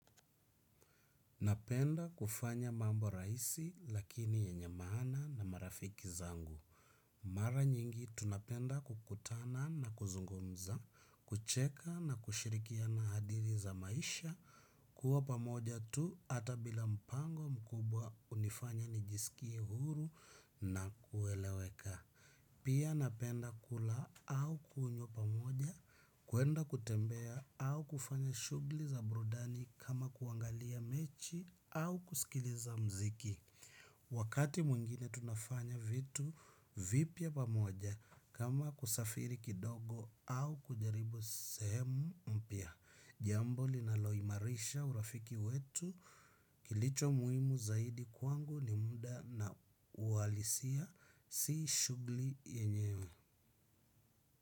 Napenda kufanya mambo raisi lakini yenye maana na marafiki zangu. Mara nyingi tunapenda kukutana na kuzungumza, kucheka na kushirikiana hadithi za maisha, kuwa pamoja tu ata bila mpango mkubwa unifanya nijisikie huru na kueleweka. Pia napenda kula au kunywa pamoja, kuenda kutembea au kufanya shugli za burudani kama kuangalia mechi au kusikiliza mziki. Wakati mwingine tunafanya vitu vipya pamoja kama kusafiri kidogo au kujaribu sehemu mpya. Jambo linaloimarisha urafiki wetu kilicho muimu zaidi kwangu ni muda na ualisia si shugli yenyewe.